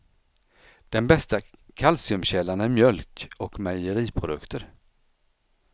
Den bästa kalciumkällan är mjölk och mejeriprodukter.